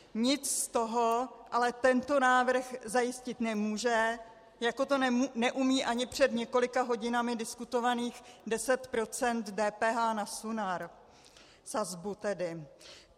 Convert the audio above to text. Nic z toho ale tento návrh zajistit nemůže, jako to neumí ani před několika hodinami diskutovaných 10 % DPH na Sunar, sazbu tedy.